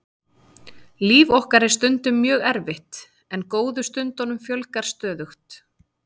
Líf okkar er stundum mjög erfitt en góðu stundunum fjölgar stöðugt.